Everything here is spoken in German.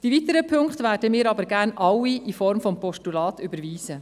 Die weiteren Punkte werden wir aber gerne alle in Form des Postulats überweisen.